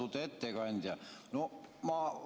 Austatud ettekandja!